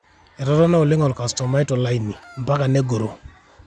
etotona oleng olkastoma to laini, mpaka nengoro